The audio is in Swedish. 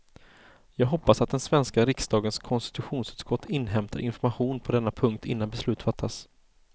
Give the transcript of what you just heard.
Jag hoppas att den svenska riksdagens konstitutionsutskott inhämtar information på denna punkt innan beslut fattas.